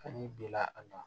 Kan'i binna a kan